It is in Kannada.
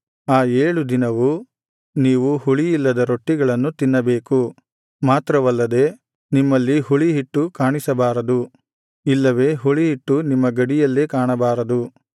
ಆ ಏಳು ದಿನವೂ ನೀವು ಹುಳಿಯಿಲ್ಲದ ರೊಟ್ಟಿಗಳನ್ನು ತಿನ್ನಬೇಕು ಮಾತ್ರವಲ್ಲದೆ ನಿಮ್ಮಲ್ಲಿ ಹುಳಿಹಿಟ್ಟು ಕಾಣಿಸಬಾರದು ಇಲ್ಲವೆ ಹುಳಿಹಿಟ್ಟು ನಿಮ್ಮ ಗಡಿಯಲ್ಲೇ ಕಾಣಬಾರದು